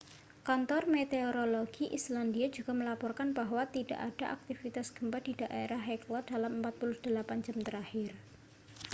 kantor meteorologi islandia juga melaporkan bahwa tidak ada aktivitas gempa di daerah hekla dalam 48 jam terakhir